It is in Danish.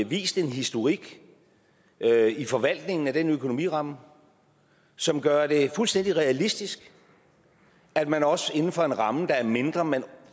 vist en historik i forvaltningen af den økonomiramme som gør det fuldstændig realistisk at man også inden for en ramme der er mindre men